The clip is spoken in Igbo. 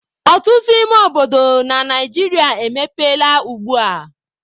Ọtụtụ ime obodo na Naijiria emepeela ugbua.